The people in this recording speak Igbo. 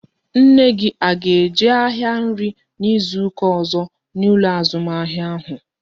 Nne gị a ga-eje ahịa nri n'izuka ọzọ n'ụlọ azụmahịa ahụ?